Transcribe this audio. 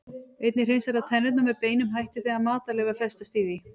Einnig hreinsar það tennurnar með beinum hætti þegar matarleifar festast í því.